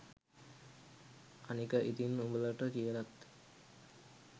අනික ඉතින් උඹලට කියලත්